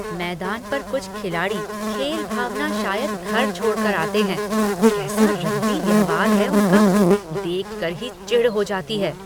मैदान पर कुछ खिलाड़ई खेल भावना शायद घर छोड़ कर आते हैं। कैसा रद्दी व्यवहार है उनका, देख कर ही चिढ़ हो जाती है।